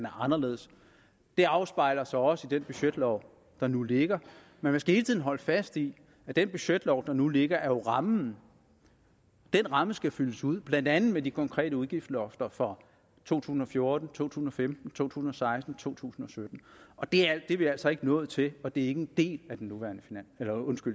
anderledes det afspejler sig også i den budgetlov der nu ligger men man skal hele tiden holde fast i at den budgetlov der nu ligger jo er rammen den ramme skal fyldes ud blandt andet med de konkrete udgiftslofter for to tusind og fjorten to tusind og femten to tusind og seksten og to tusind og sytten og det er vi altså ikke nået til og det er ikke en del af den